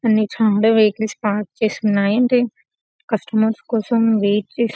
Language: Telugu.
అన్ని చాలా వెహికల్స్ పార్క్ చేసి ఉన్నాయి కస్టమర్ కోసం వెయిట్ చేస్తూ --